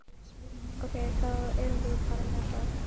Ok, þá erum við bara með það?